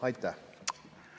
Aitäh!